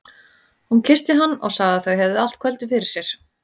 Hún kyssti hann og sagði að þau hefðu allt kvöldið fyrir sér.